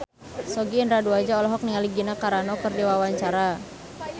Sogi Indra Duaja olohok ningali Gina Carano keur diwawancara